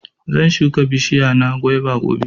zan shuka bishiya na guava gobe.